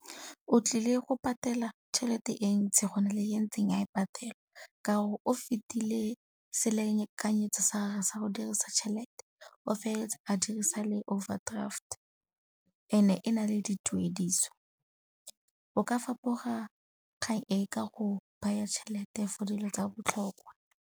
O tlile go patela chelete e ntsi go na le e ntseng a e patela ka gore o fetile selekanyetso sa gage sa go dirisa tšhelete, o feleletsa a dirisa le overdraft and-e e na le dituediso. O ka fapoga kgang e ka go baya tšhelete for dilo tsa botlhokwa.